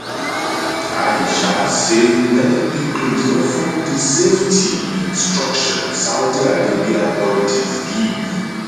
aisha say many pilgrims no follow di safety instructions saudi arabia authorities give